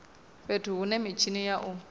fhethu hune mitshini ya u